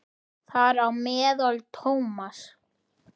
Þar á meðal Thomas.